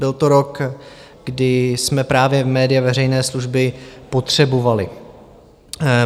Byl to rok, kdy jsme právě média veřejné služby potřebovali.